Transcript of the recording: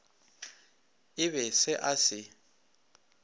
e be se a se